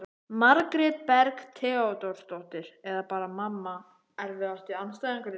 Margrét Berg Theodórsdóttir eða bara mamma Erfiðasti andstæðingur?